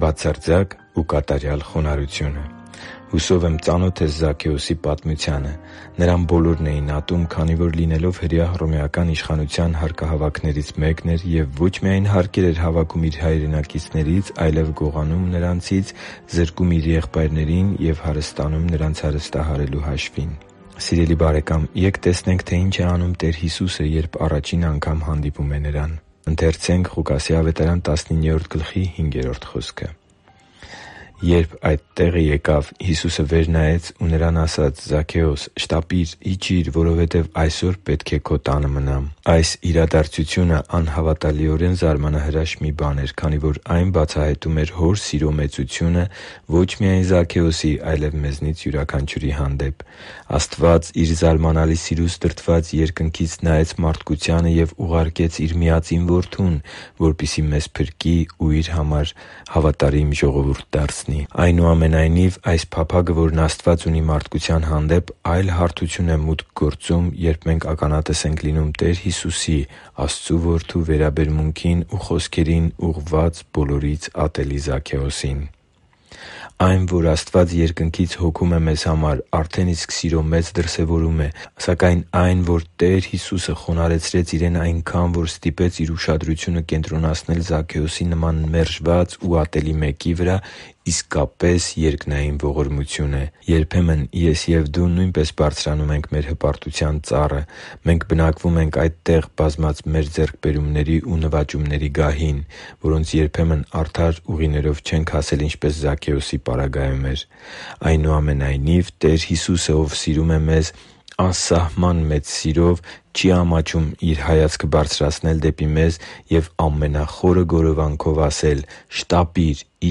Բացարձակ ու կատարյալ խոնարհությունը Հուսով եմ՝ ծանոթ ես Զաքեոսի պատմությանը։ Նրան բոլորն էին ատում, քանի որ, լինելով հրեա, հռոմեական իշխանության հարկահավաքններից մեկն էր և ոչ միայն հարկեր էր հավաքում իր հայրենակիցներից, այլև գողանում նրանցից, զրկում իր եղբայրներին ու հարստանում նրանց հարստահարելու հաշվին։ Սիրելի՛ բարեկամ, ե՛կ տեսնենք, թե ինչ է անում Տեր Հիսուսը, երբ առաջին անգամ հանդիպում է նրան. «Երբ այդ տեղը եկավ, Հիսուսը վեր նայեց ու նրան ասաց. «Զաքեո՛ս, շտապի՛ր, իջի՛ր, որովհետև այսօր պետք է քո տանը մնամ»(Ղուկաս 19:5)։ Այս իրադարձությունը անհավատալիորեն զարմանահրաշ մի բան էր, քանի որ այն բացահայտում էր Հոր սիրո մեծությունը ոչ միայն Զաքեոսի, այլև մեզնից յուրաքանչյուրի հանդեպ: Աստված, Իր զարմանալի սիրուց դրդված, Երկնքից նայեց մարդկությանը և ուղարկեց Իր միածին Որդուն, որպեսզի մեզ փրկի ու Իր համար ժողովուրդ դարձնի: Այնուամենայնիվ, այս փափագը, որն Աստված ունի մարդկության հանդեպ, այլ հարթություն է մուտք գործում, երբ մենք ականատես ենք լինում Տեր Հիսուսի՝ Աստծո Որդու վերաբերմունքին ու խոսքերին՝ ուղղված բոլորից ատելի Զաքեոսին: Այն, որ Աստված Երկնքից հոգում է մեզ համար, արդեն իսկ սիրո մեծ դրսևորում է։ Սակայն այն, որ Տեր Հիսուսը խոնարհեցրեց Իրեն այնքան, որ ստիպեց Իր ուշադրությունը կենտրոնացնել Զաքեոսի նման մերժված ու ատելի մեկի վրա, իսկապես երկնային ողորմություն էր։ Երբեմն ես և դու նույնպես բարձրանում ենք մեր հպարտության ծառը։ Մենք բնակվում ենք այդտեղ՝ բազմած մեր ձեռքբերումների ու նվաճումների գահին (որոնց երբեմն արդար ուղիներով չենք հասել, ինչպես Զաքեոսի պարագայում էր): Այնուամենայնիվ, Տեր Հիսուսը, Ով սիրում է մեզ անսահման մեծ սիրով, չի ամաչում Իր հայացքը բարձրացնել դեպի մեզ և ամենախորը գորովանքով ասել. «Շտապի՛ր և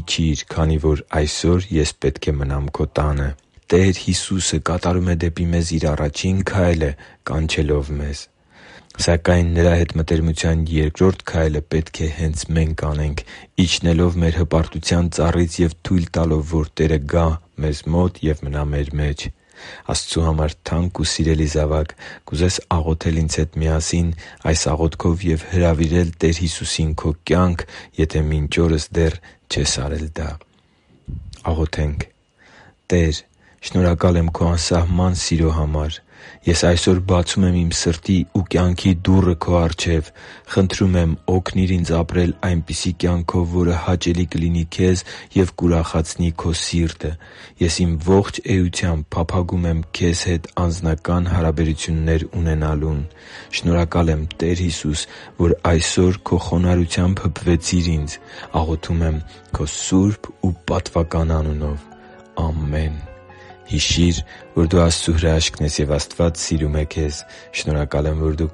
իջի՛ր, քանի որ այսօր Ես պետք է մնամ քո տանը»: Տեր Հիսուսը դեպի մեզ Իր առաջին քայլը կատարում է՝ կանչելով մեզ: Սակայն Նրա հետ մտերմության երկրորդ քայլը պետք է հենց մենք անենք՝ իջնելով մեր հպարտության ծառից և թույլ տալով, որ Տերը գա մեզ մոտ և մնա մեր մեջ: Աստծու համար թանկ ու սիրելի՛ զավակ, կուզե՞ս աղոթել ինձ հետ միասին այս աղոթքով և հրավիրել Տեր Հիսուսին քո կյանք, եթե մինչ օրս դեռ չես արել դա․ «Տե՛ր, շնորհակալ եմ Քո անսահման սիրո համար: Ես այսօր բացում եմ իմ սրտի և կյանքի դուռը Քո առջև: Խնդրում եմ՝ օգնիր ինձ ապրել այնպիսի կյանքով, որը հաճելի կլինի Քեզ և կուրախացնի Քո սիրտը։ Ես իմ ողջ էությամբ փափագում եմ Քեզ հետ անձնական հարաբերություններ ունենալուն։ Շնորհակալ եմ, Տե՛ր Հիսուս, որ այսօր Քո խոնարհությամբ հպվեցիր ինձ։ Աղոթում եմ Քո սուրբ անունով։ Ամե՛ն»: Հիշի՛ր, որ դու Աստծո հրաշքն ես, և Աստված սիրում է քեզ։ Շնորհակալ եմ, որ դու